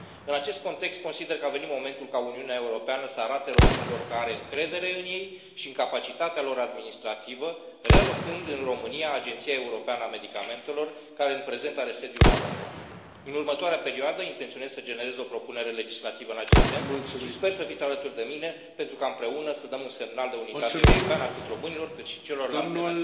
În acest context, consider că a venit momentul ca Uniunea Europeană să arate românilor că are încredere în ei și în capacitatea lor administrativă relocând în România Agenția Europeană a Medicamentelor, care în prezent are sediul la Londra. În următoarea perioadă intenționez să generez o propunere legislativă în acest sens și sper să fiți alături de mine, pentru ca împreună să dăm un semnal de unitate europeană atât românilor cât și celorlalte nații.